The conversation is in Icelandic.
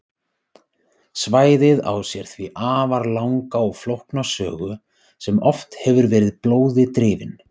Svæðið á sér því afar langa og flókna sögu sem oft hefur verið blóði drifin.